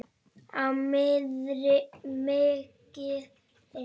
Á mikið inni.